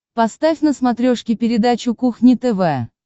поставь на смотрешке передачу кухня тв